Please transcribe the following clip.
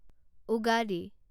Ugadi